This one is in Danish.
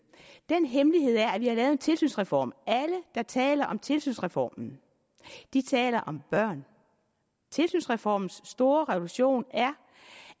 den hemmelighed er at vi har lavet en tilsynsreform alle der taler om tilsynsreformen taler om børn tilsynsreformens store revolution er